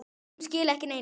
Sum skila ekki neinu.